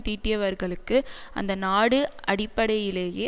தீட்டியவர்களுக்கு அந்த நாடு அடிப்படையிலேயே